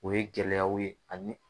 O ye gɛlɛyaw ye ani